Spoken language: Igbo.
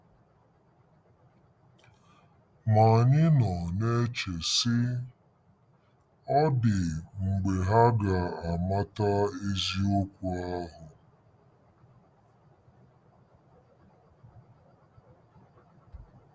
Ma anyị nọ na-eche, sị, ‘Ọ̀ dị mgbe ha ga-amata eziokwu ahụ? '